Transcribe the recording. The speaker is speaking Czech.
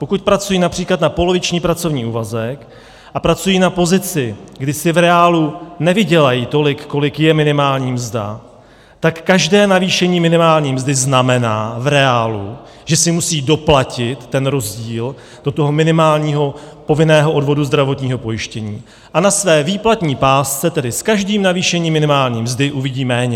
Pokud pracují například na poloviční pracovní úvazek a pracují na pozici, kdy si v reálu nevydělají tolik, kolik je minimální mzda, tak každé navýšení minimální mzdy znamená v reálu, že si musí doplatit ten rozdíl do toho minimálního povinného odvodu zdravotního pojištění a na své výplatní pásce, tedy s každým navýšením minimální mzdy, uvidí méně.